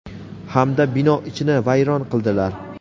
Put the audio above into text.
hamda bino ichini vayron qildilar.